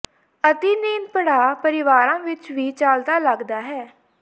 ਅਤਿ ਨੀਂਦ ਪੜਾਅ ਪਰਿਵਾਰਾਂ ਵਿੱਚ ਵੀ ਚੱਲਦਾ ਲੱਗਦਾ ਹੈ